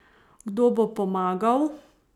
Kdo bo pomagal?